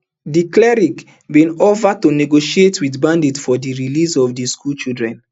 di cleric bin offer to negotiate wit bandits for di release of di schoolchildren